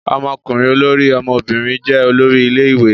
Ọmọkùnrin olórí, ọmọbìnrin jẹ́ olórí ilé-ìwé.